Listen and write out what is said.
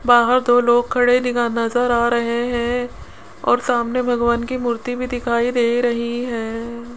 बाहर दो लोग खड़े दिखा नजर आ रहे हैं और सामने भगवान की मूर्ति भी दिखाई दे रही है।